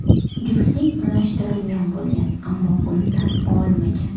Juftlik unashtirilgan bo‘lgan, ammo buni tan olmagan.